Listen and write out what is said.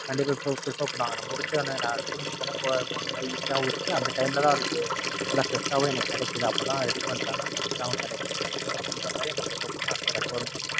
கண்டிப்பா இப்ப Prefer பண்ணுவாங்க. நம்ம முடிச்சோன நான் School முடிச்சோன போன போன மாறி Easy ஆவும் இருக்கு அந்த Time ல தான் அதுக்கு நல்ல Fresh ஆவும் எனக்கு கிடைக்குது அப்பதான் Ready பண்றாங்க அது Fresh ஆவும் கிடைக்குது அப்படின்றமாறி அவுங்க Prefer பண்ணி Recommend உம் பண்ணுவாங்க.